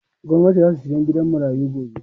Gwanati zasu saya gidan marayu gobe